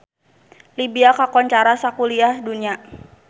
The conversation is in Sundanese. Libya kakoncara sakuliah dunya